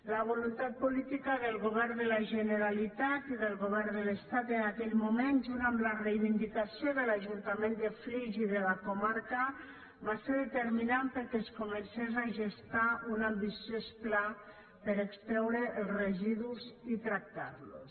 la voluntat política del govern de la generalitat i del govern de l’estat en aquell moment junt amb la reivindicació de l’ajuntament de flix i de la comarca va ser determinant perquè es comencés a gestar un ambiciós pla per a extreure els residus i tractar los